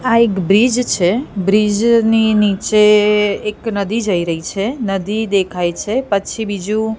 આ એક બ્રિજ છે બ્રિજ ની નીચે એક નદી જઈ રહી છે નદી દેખાય છે પછી બીજું--